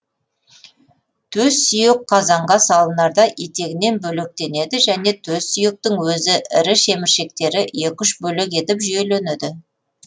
төс сүйек қазанға салынарда етегінен бөлектенеді және төс сүйектің өзі ірі шеміршектері екі үш бөлек етіп жүйеленеді